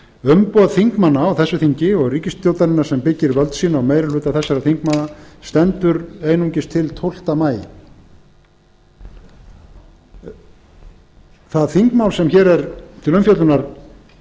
umboð þingmanna á þessu þingi og ríkisstjórnarinnar sem byggir völd sín á meiri hluta þessara þingmanna stendur einungis til tólfta maí það þingmál sem hér er til umfjöllunar